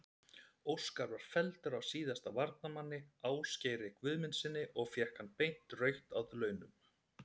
Óskar var felldur af síðasta varnarmanni, Ásgeiri Guðmundssyni og fékk hann beint rautt að launum.